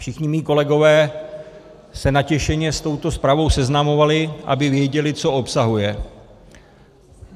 Všichni mí kolegové se natěšeně s touto zprávou seznamovali, aby věděli, co obsahuje.